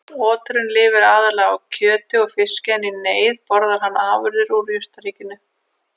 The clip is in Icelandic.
Oturinn lifir aðallega á kjöti og fiski en í neyð borðar hann afurðir úr jurtaríkinu.